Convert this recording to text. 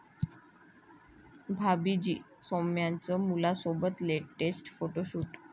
भाभी जी' सौम्याचं मुलासोबत latest photoshoot